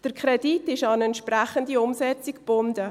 Der Kredit ist an eine entsprechende Umsetzung gebunden.